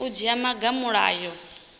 u dzhia maga a mulayo